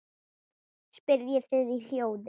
spyrjið þið í hljóði.